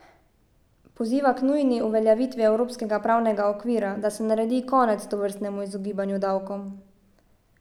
Poziva k nujni uveljavitvi evropskega pravnega okvira, da se naredi konec tovrstnemu izogibanju davkom.